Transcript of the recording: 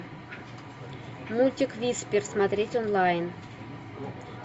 мультик висспер смотреть онлайн